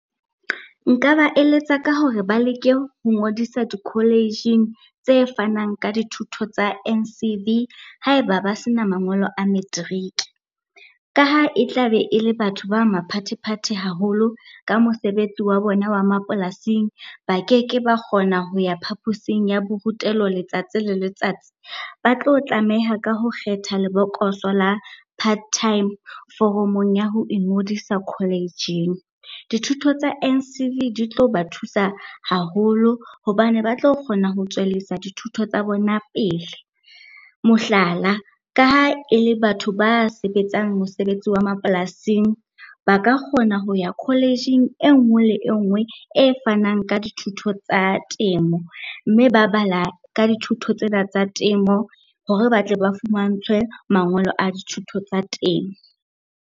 Nka ba eletsa ka hore ba leke ho ngodisa di-college-ing tse fanang ka dithuto tsa N_C_V ha eba ba sena mangolo a materiki. Ka ha e tla be e le batho ba maphathephathe haholo ka mosebetsi wa bona wa mapolasing, ba keke ba kgona ho ya phaposing ya borutelo letsatsi le letsatsi. Ba tlo tlameha ka ho kgetha lebokoso la part time foromong ya ho ingodisa college-ing. Dithuto tsa N_C_V di tlo ba thusa haholo hobane ba tlo kgona ho tswellisa dithuto tsa bona pele. Mohlala, ka ha e le batho ba sebetsang mosebetsi wa mapolasing ba ka kgona ho ya college-ing e nngwe le engwe e fanang ka dithuto tsa temo, mme ba bala ka dithuto tsena tsa temo hore ba tle ba fumantshwe mangolo a dithuto tsa teng.